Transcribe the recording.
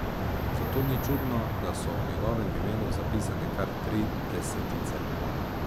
Zato ni čudno, da so ob njegovem imenu zapisane kar tri desetice.